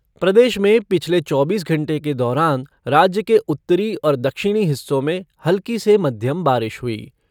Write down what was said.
प्रदेश में पिछले चौबीस घंटे के दौरान राज्य के उत्तरी और दक्षिणी हिस्सों में हल्की से मध्यम बारिश हुई।